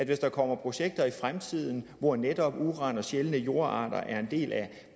hvis der kommer projekter i fremtiden hvor netop uran og sjældne jordarter er en del af